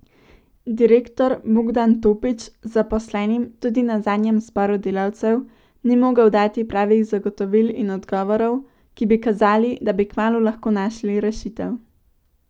Direktor Bogdan Topič zaposlenim tudi na zadnjem zboru delavcev ni mogel dati pravih zagotovil in odgovorov, ki bi kazali, da bi kmalu lahko našli rešitev.